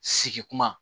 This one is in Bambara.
Sigi kuma